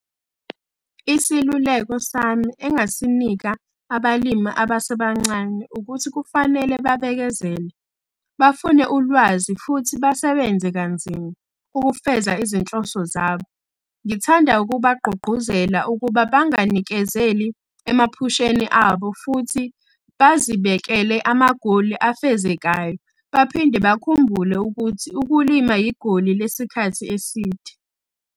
Isiluleko sami engisinika abalimi abasebancane ukuthi kufanele babekezele, bafune ulwazi futhi basebenze kanzima ukufeza izinhloso zabo. Ngithanda ukubagqugquzela ukuba banganikezeli emaphusheni abo futhi bazibekele amagoli afezekayo baphinde bakhumbule ukuthi ukulima yigoli lesikhathi eside.